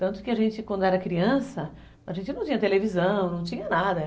Tanto que a gente, quando era criança, a gente não tinha televisão, não tinha nada.